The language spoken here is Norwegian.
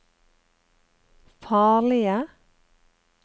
farlige